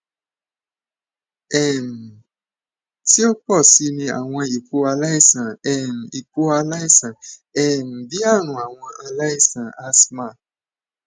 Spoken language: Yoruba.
um ti o pọ si ni awọn ipo alaisan um ipo alaisan um bii arun awọ ara alaisan asthma